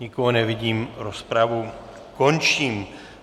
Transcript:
Nikoho nevidím, rozpravu končím.